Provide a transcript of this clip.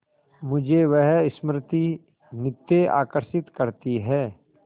मुझे वह स्मृति नित्य आकर्षित करती है